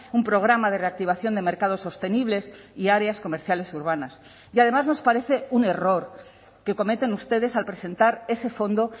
un programa de reactivación de mercados sostenibles y áreas comerciales urbanas y además nos parece un error que cometen ustedes al presentar ese fondo